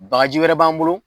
Bakaji wɛrɛ b'an bolo